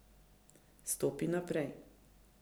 Stopi naprej.